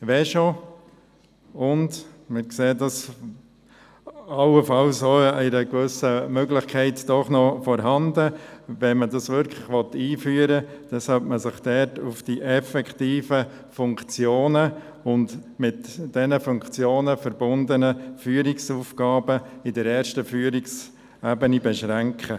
Wenn schon sollte man sich auf die effektiven Funktionen und die damit verbundenen Führungsaufgaben auf der ersten Führungsebene beschränken.